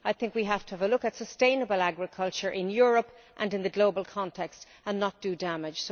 I think we have to have a look at sustainable agriculture in Europe and in the global context and not do damage.